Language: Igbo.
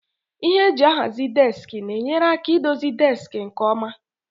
Ihe eji ahazi deski na-enyere aka idozi deski nke ọma.